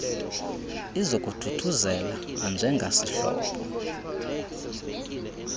izokuthuthuzela nanje ngasihlobo